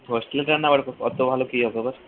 hostel এ তো রান্না ঐরকম অতো ভালো কি হবে আবার